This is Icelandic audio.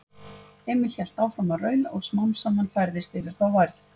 Emil hélt áfram að raula og smám saman færðist yfir þá værð.